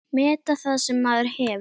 Meta það sem maður hefur.